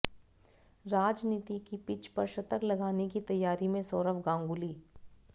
राजनीति की पिच पर शतक लगाने की तैयारी में सौरव गांगुली